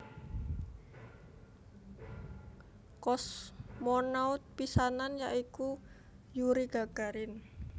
Kosmonaut pisanan ya iku Yuri Gagarin